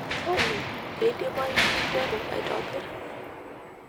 olly keidimayu ninteru aitobir